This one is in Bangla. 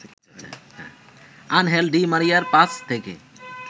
আনহেল ডি মারিয়ার পাস থেকে